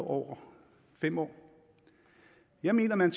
over fem år jeg mener man